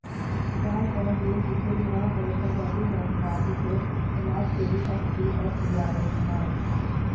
Sharjah ਜੇਲ੍ਹ ਵਿੱਚੋਂ ਰਿਹਾਅ ਹੋਏ ਪੰਜਾਬੀ ਨੌਜਵਾਨ ਉੱਘੇ ਸਮਾਜਸੇਵੀ ਐਸਪੀਐਸ ਓਬਰਾਏ ਨਾਲ